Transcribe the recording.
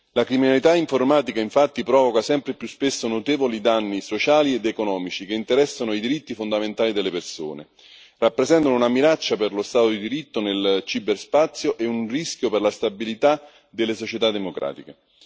La criminalità informatica, infatti, provoca sempre più spesso notevoli danni sociali ed economici che interessano i diritti fondamentali delle persone, rappresentano una minaccia per lo Stato di diritto nel ciberspazio e un rischio per la stabilita delle società democratiche.